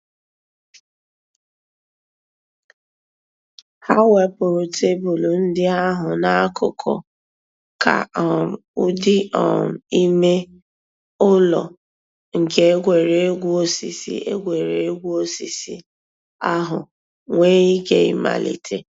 Hà wépụ̀rù tebụl ńdí àhụ̀ n'àkùkò kà um ǔ́dị̀ um ìmè ǔlọ̀ nke ègwè́ré́gwụ̀ òsìsì ègwè́ré́gwụ̀ òsìsì àhụ̀ nwee íké ị̀màlítè.